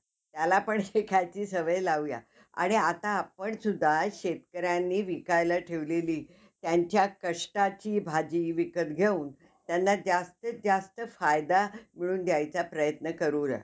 ठीक आहे ma'am thank you. उद्या बोलू आपण.